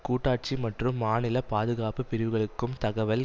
கூட்டாட்சி மற்றும் மாநில பாதுகாப்பு பிரிவுகளுக்கும் தகவல்